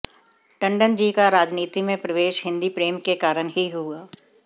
टण्डन जी का राजनीति में प्रवेश हिन्दी प्रेम के कारण ही हुआ